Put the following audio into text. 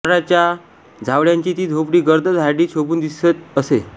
नारळाच्या झावळ्यांची ती झोपडी गर्द झाडीत शोभून दिसत असे